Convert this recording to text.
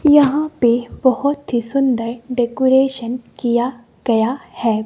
यहां पे बहोत ही सुंदर डेकोरेशन किया गया है--